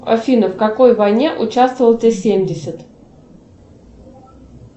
афина в какой войне участвовал т семьдесят